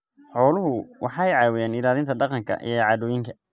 Xooluhu waxay caawiyaan ilaalinta dhaqanka iyo caadooyinka.